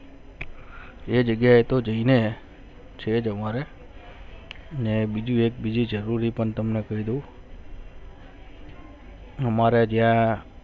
એ જગ્યા એ તો થી ને છે તમારે ને બીજી એક જરૂરી તમને ખરીદી હમારે ત્યાં